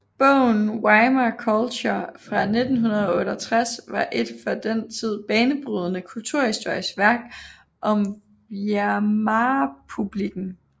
Bogen Weimar Culture fra 1968 var et for den tid banebrydende kulturhistorisk værk om Weimarrepublikken